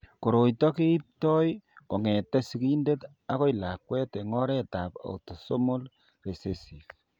Koroi ito keipto kong'etke sigindet akoi lakwet eng' oretab autosomal recessive.